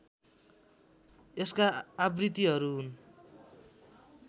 यसका आवृत्तिहरू हुन्